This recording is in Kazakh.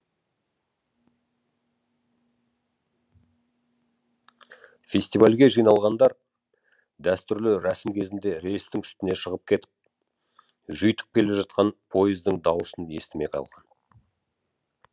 фестивальге жиналғандар дәстүрлі рәсім кезінде рельстің үстіне шығып кетіп жүйіткіп келе жатқан пойыздың дауысын естімей қалған